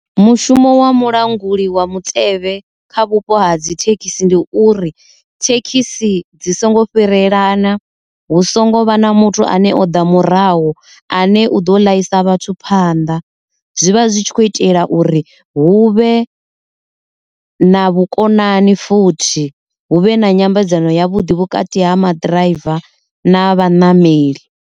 Mushumo wa mulanguli wa mutevhe kha vhupo ha dzi thekhisi ndi uri thekhisi dzi songo fhirelana, hu songo vha na muthu ane o ḓa murahu ane u ḓo ḽaisa vhathu phanḓa. Zwivha zwi tshi khou itela uri hu vhe na vhukonani futhi huvhe na nyambedzano yavhuḓi vhukati ha maḓi ḓiraiva na vhanameli.